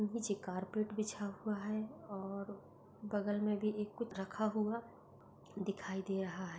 पीछे कारपेट बिछा हुआ है। और बगल मे भी एक कुछ रखा हुआ दिखाई दे रहा है।